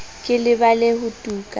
ke lebale ho tu ka